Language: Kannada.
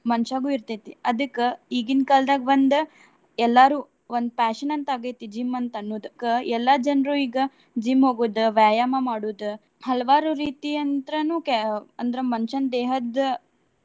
ಮನಷ್ಯಾಗು ಇರ್ತೆತಿ. ಅದಕ್ಕ ಈಗಿನ್ ಕಾಲ್ದಾಗ್ ಒಂದ್ ಎಲ್ಲರು ಒಂದ್ fashion ಅಂತ ಆಗೈತಿ gym ಅಂತ ಅನ್ನೋದ್. ಅದಕ್ಕ ಎಲ್ಲಾ ಜನ್ರು ಈಗ gym ಹೋಗುದ್, ವ್ಯಾಯಾಮ ಮಾಡುದ್ ಹಲವಾರು ರೀತಿಯಂತ್ರಾನು ಕೆ~ ಅಂದ್ರ ಮನಷ್ಯನ್ ದೇಹದ್ದ.